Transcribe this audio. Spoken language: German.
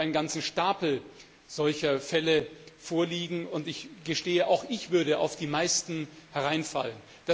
Ich selbst habe einen ganzen Stapel solcher Fälle vorliegen, und ich gestehe, auch ich würde auf die meisten hereinfallen.